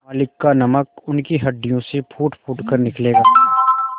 मालिक का नमक उनकी हड्डियों से फूटफूट कर निकलेगा